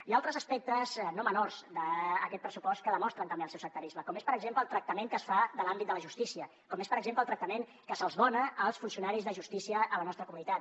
hi ha altres aspectes no menors d’aquest pressupost que demostren també el seu sectarisme com és per exemple el tractament que es fa de l’àmbit de la justícia com és per exemple el tractament que se’ls dona als funcionaris de justícia a la nostra comunitat